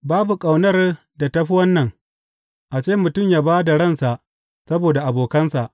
Babu ƙaunar da ta fi wannan, a ce mutum ya ba da ransa saboda abokansa.